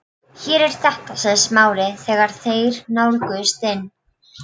Hér er þetta sagði Smári þegar þeir nálguðust inn